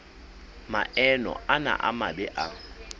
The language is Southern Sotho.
maemo ana a mabe a